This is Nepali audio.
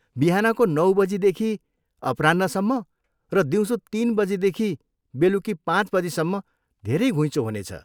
बिहानको नौ बजीदेखि अपराह्नसम्म र दिउँसो तिन बजीदेखि बेलुकी पाँच बजीसम्म धेरै घुइँचो हुनेछ।